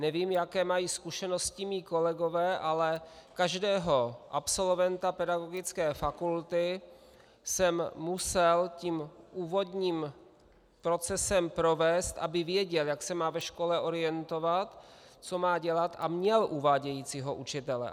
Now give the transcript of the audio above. Nevím, jaké mají zkušenosti mí kolegové, ale každého absolventa pedagogické fakulty jsem musel tím úvodním procesem provést, aby věděl, jak se má ve škole orientovat, co má dělat, a měl uvádějícího učitele.